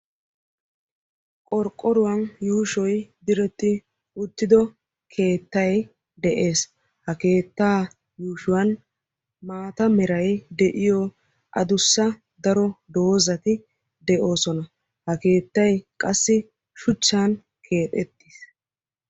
Qorqqoruwan yuushoy diretti uttido keettay de'ees. Ha keetta yuushshuwan maata meray de'iyo addussa daro doozati de'oosona. Ha keettay qassi shuchchan keexxetiis.